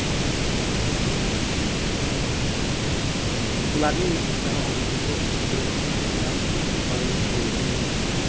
Ularning muxlislari oldida to‘p surish har doim qiyin bo‘lgan.